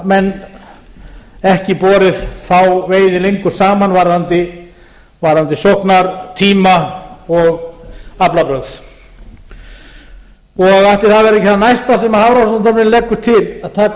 menn ekki borið þá veiði lengur saman varðandi sóknartíma og aflabrögð ætli það verði ekki það næsta sem hafrannsóknastofnun leggur til að taka upp sérstakt sóknarstýrt rall á handfæraveiðum